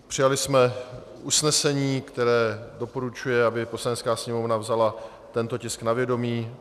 Přijali jsme usnesení, které doporučuje, aby Poslanecká sněmovna vzala tento tisk na vědomí.